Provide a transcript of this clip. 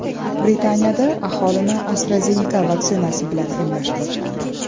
Britaniyada aholini AstraZeneca vaksinasi bilan emlash boshlandi.